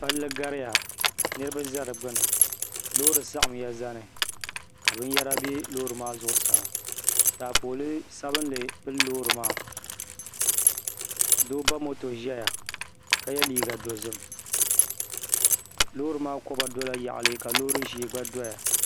Palli gariya ka niraba bɛ di gbuni loori saɣamya zani ka binyɛra bɛ loori maa zuɣusaa taapooli sabinli pili loori maa doo ba moto ʒɛya ka yɛ liiga dozim loori maa koba dola yaɣali ka loori ʒiɛ gba doya